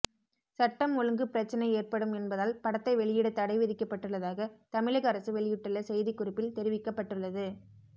சட்டம் ஒழுங்கு பிரச்சினை ஏற்படும் என்பதால் படத்தை வெளியிட தடை விதிக்கப்பட்டுள்ளதாக தமிழக அரசு வெளியிட்டுள்ள செய்திக்குறிப்பில் தெரிவிக்கப்பட்டுள்ளது